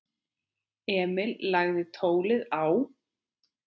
Emil lagði tólið á.